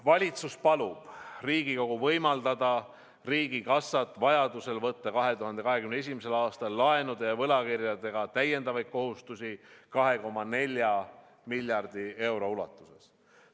Valitsus palub Riigikogul võimaldada riigikassat vajaduse korral võtta 2021. aastal laenude ja võlakirjadega täiendavaid kohustusi 2,4 miljardi euro ulatuses.